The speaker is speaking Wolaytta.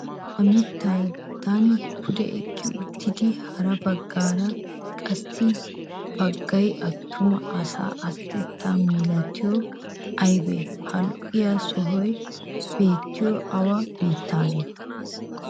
Ha mittadan pude eqqi uttidi hara baggaara qassi baggay attuma asaa asatettaa milatiyagee aybee? Ha lo"iya sohay beettiyoy awa biittaanee?